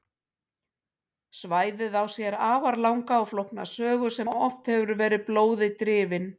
Svæðið á sér því afar langa og flókna sögu sem oft hefur verið blóði drifin.